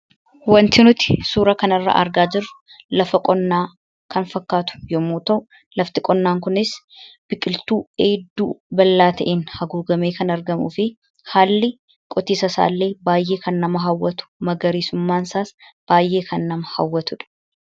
Wanti nuti suuraa kanarraa argaa jirru lafa qonnaa kan fakkaatu yommuu ta'u, lafti qonnaa kunis biqiltuu hedduu bal'aa ta'een haguugamee kan argamuu fi haalli qotiisa isaallee baay'ee nama hawwatu, magariisummaan isaas baay'ee kan nama hawwatu dha.